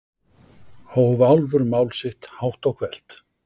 hóf Álfur mál sitt hátt og hvellt.